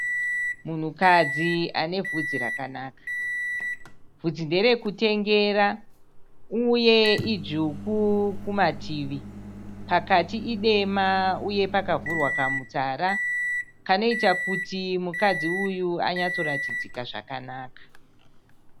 Munhukadzi ane vhudzi rakanaka. Vhudzi nderekutengera uye idzvuku kumativi. Pakati idema uye pakavhurwa kamutsara kanoita kuti mukadzi uyu anyatsoratidzika zvakanaka.